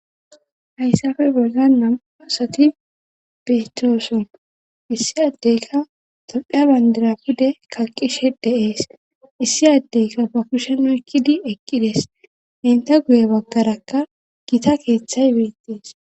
hayssafe boan nam7u asati beetooson issi addeyka tophiya bandira pude kalqishe deees issi addeyka ba kushenu ekkidi eqqides enta guye baggarakka gita keeththay beettees.